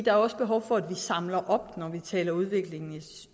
er også behov for at samle op når vi taler udvikling